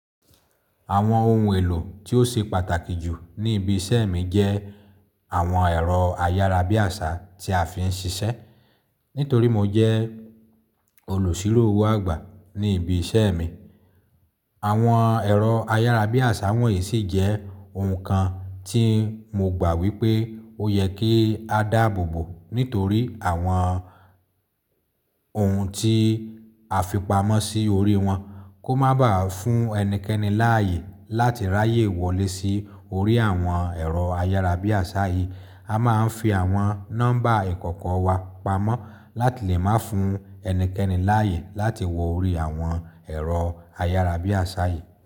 Àwọn ohun èlò tí ó ṣe pàtàkì jù ní ibi iṣẹ́ mi jẹ́ Àwọn ẹ̀rọ ayárabíàṣá tí a fi ń ṣiṣẹ́. Nítorí mo jẹ́ olùṣírò-owó àgbà ní ibi iṣẹ́ mi. Àwọn ẹ̀rọ ayárabíàṣá wọ̀nyí sì jẹ́ ohun kan tí mo gbà wípé ó yẹ kí a dáàbò bò nítorí àwọn ohun tí a fipamọ́ sí orí wọn kò má baà fún ẹnikẹ́ni láàyè láti ráyè wọlé sí orí àwọn ẹ̀rọ ayárabíàṣá yìí. A máa ń fi àwọn nọ́mbà ìkọ̀kọ̀ wa pamọ́ láti lè má fún ẹnikẹ́ni láàyè láti wọ orí àwọn ẹ̀rọ ayárabíàṣá yìí.